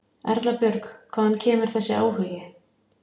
Erla Björg: Hvaðan kemur þessi áhugi?